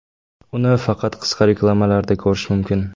Uni faqat qisqa reklamalarda ko‘rish mumkin.